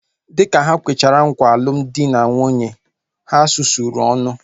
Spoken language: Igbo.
Dịka ha kwechara nkwa alụmdi na nwunye ahu, ha sụsụrụ ọnụ